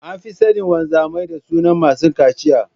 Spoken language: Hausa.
An fi sanin wamzamai da sunan masu cachiya.